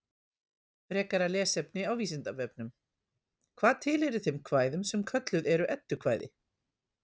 Frekara lesefni á Vísindavefnum: Hvað tilheyrir þeim kvæðum sem kölluð eru eddukvæði?